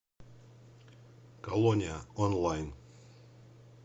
колония онлайн